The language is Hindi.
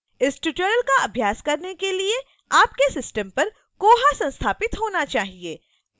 इस tutorial का अभ्यास करने के लिए आपके system पर koha संस्थापित होना चाहिए